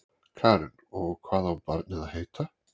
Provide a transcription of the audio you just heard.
Karen: Og hvað á barnið að heita?